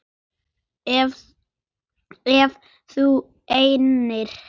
Ef þú nennir.